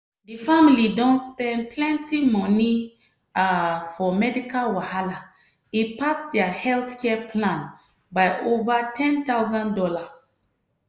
di family don spend plenty money um for medical wahala e pass dia healthcare plan by over one thousand dollars0.